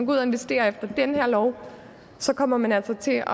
ud og investerer efter den her lov så kommer man altså til